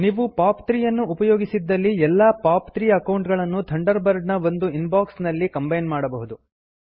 ನೀವು ಪಾಪ್ 3 ಅನ್ನು ಉಪಯೋಗಿಸಿದ್ದಲ್ಲಿ ಎಲ್ಲಾ ಪಾಪ್ 3 ಅಕೌಂಟ್ ಗಳನ್ನು ಥಂಡರ್ ಬರ್ಡ್ ನ ಒಂದು ಇನ್ಬಾಕ್ಸ್ ನಲ್ಲಿ ಕಂಬೈನ್ ಮಾಡಬಹುದು